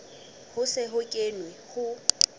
ho se ho kenwe ho